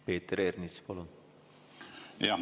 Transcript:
Peeter Ernits, palun!